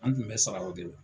An tun bɛ sara o de la.